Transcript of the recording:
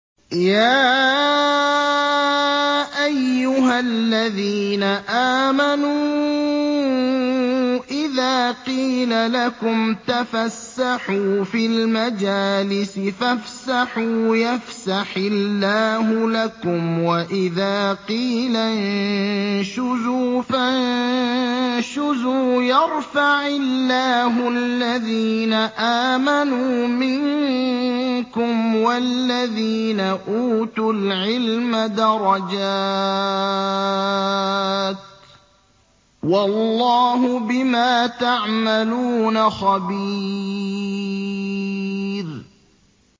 يَا أَيُّهَا الَّذِينَ آمَنُوا إِذَا قِيلَ لَكُمْ تَفَسَّحُوا فِي الْمَجَالِسِ فَافْسَحُوا يَفْسَحِ اللَّهُ لَكُمْ ۖ وَإِذَا قِيلَ انشُزُوا فَانشُزُوا يَرْفَعِ اللَّهُ الَّذِينَ آمَنُوا مِنكُمْ وَالَّذِينَ أُوتُوا الْعِلْمَ دَرَجَاتٍ ۚ وَاللَّهُ بِمَا تَعْمَلُونَ خَبِيرٌ